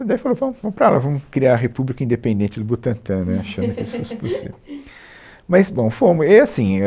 Daí ele falou, ele falou, vamos para lá, vamos criar a República Independente do Butantã, né, achando que isso fosse possível. Mas, bom, fomos. E aí assim, é